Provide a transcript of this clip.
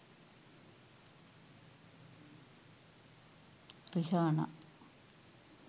rihanna